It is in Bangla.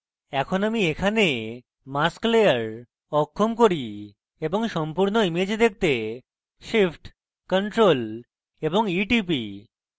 এখন আমি এখানে mask layer অক্ষম করি এবং সম্পূর্ণ image দেখতে shift + ctrl + e টিপি